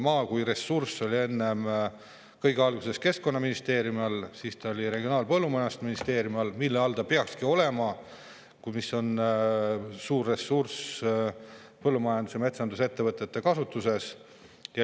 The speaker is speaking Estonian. Maa kui ressurss oli kõige alguses keskkonnaministeeriumi all ja siis Regionaal‑ ja Põllumajandusministeeriumi all, mille all see peakski olema, sest suur sellest ressursist on põllumajandus‑ ja metsandusettevõtete kasutuses.